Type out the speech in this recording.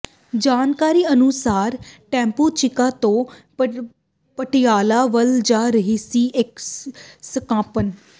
ਜਾਣਕਾਰੀ ਅਨੁਸਾਰ ਟੈਂਪੂ ਚੀਕਾ ਤੋਂ ਪਟਿਆਲਾ ਵੱਲ ਜਾ ਰਿਹਾ ਸੀ ਤੇ ਇਕ ਸਕਾਰਪ